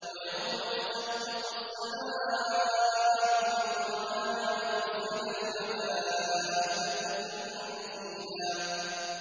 وَيَوْمَ تَشَقَّقُ السَّمَاءُ بِالْغَمَامِ وَنُزِّلَ الْمَلَائِكَةُ تَنزِيلًا